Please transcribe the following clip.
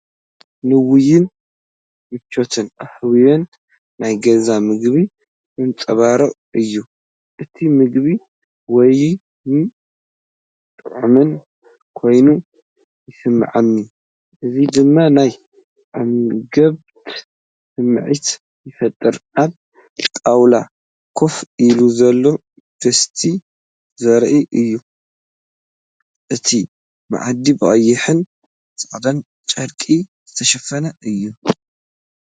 ንውዑይን ምቾትን ሃዋህውን ናይ ገዛ መግቢ ዘንጸባርቕ እዩ። እቲ መግቢ ውዑይን ጥዑምን ኮይኑ ይስምዓኒ፣ እዚ ድማ ናይ ዕግበት ስምዒት ይፈጥር። ኣብ ጣውላ ኮፍ ኢሉ ዘሎ ድስቲ ዘርኢ እዩ። እቲ መኣዲ ብቐይሕን ጻዕዳን ጨርቂ ዝተሸፈነ እዩ።